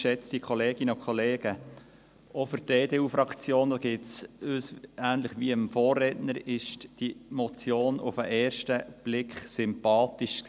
Auch für die EDU-Fraktion, ähnlich wie für den Vorredner, war diese Motion auf den ersten Blick sympathisch.